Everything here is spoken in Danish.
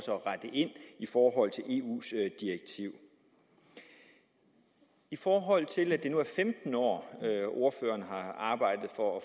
at rette ind i forhold til eus direktiv i forhold til at det nu er femten år ordføreren har arbejdet for at